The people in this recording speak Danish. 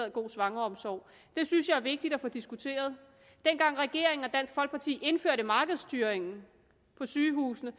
en god svangreomsorg det synes jeg er vigtigt at få diskuteret dengang regeringen og dansk folkeparti indførte markedsstyring på sygehusene